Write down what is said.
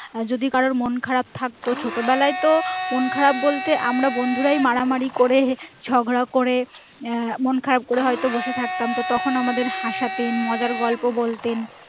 আর যদি কারোর মন খারাপ থাকতো ছোট বেলায় তো মন খারাপ বলতে আমার বন্ধুরাই মারা মারি করে ঝগড়া করে আহ মন খারাপ করে হয়তো বসে থাকতাম তো তখন আমাদের হাসতেন মজার গল্প বলতেন